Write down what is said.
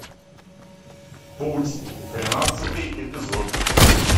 путь тринадцатый эпизод